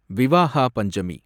Vivaha Panchami